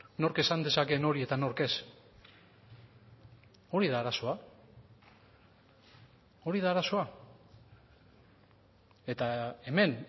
nork esan dezakeen hori eta nork ez hori da arazoa hori da arazoa eta hemen